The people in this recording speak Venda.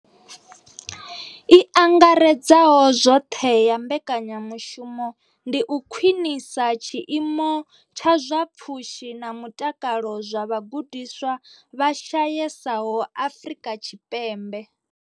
I angaredzaho zwoṱhe ya mbekanyamushumo ndi u khwinisa tshiimo tsha zwa pfushi na mutakalo zwa vhagudiswa vha shayesaho Afrika Tshipembe.